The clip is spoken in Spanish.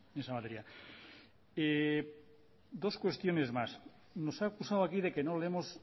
en esa materia dos cuestiones más nos ha acusado aquí de que no leemos